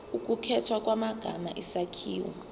ukukhethwa kwamagama isakhiwo